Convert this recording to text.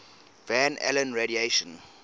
van allen radiation